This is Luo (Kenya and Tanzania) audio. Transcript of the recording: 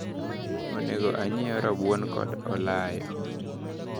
Onego anyieu rabuon kod olayo.